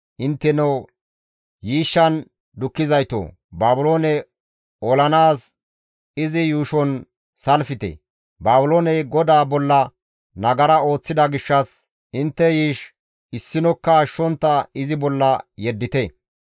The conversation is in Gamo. «Intteno yiishshan dukkizaytoo! Baabiloone olanaas izi yuushon salfte; nagara ooththida gishshas intte yiish issinokka ashshontta izi bolla yeddite.